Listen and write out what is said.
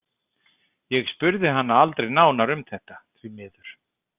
Ég spurði hana aldrei nánar um þetta, því miður.